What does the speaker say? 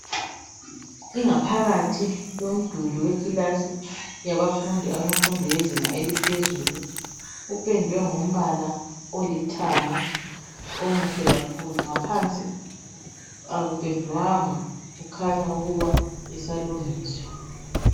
Ingaphakathi yomduli wekilasi yabafundi bemfundo yezinga eliphezulu kupendwe ngombala olithanga omuhle kakhulu ngaphansi akupendwanga kukhanya ukuba isalungiswa.